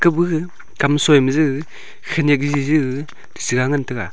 ta bu shi kam sui ma ji khanyak jiji gag sida ngan taga.